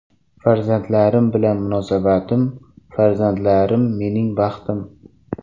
Farzandlarim bilan munosabatim Farzandlarim mening baxtim.